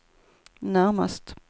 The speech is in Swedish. närmast